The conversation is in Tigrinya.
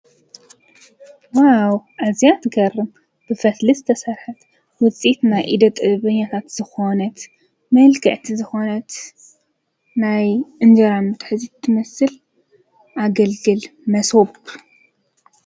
ዋው እዚኣ ትገርም ብፈትሊ ስ ተሠርሐት ውፂት ናይ ኢደ ጥብኛታት ዝኾነት መልግዕቲ ዝኾነት ናይ እንጀራ ምሕ ዚት ትመስል ኣገልግል መስወብ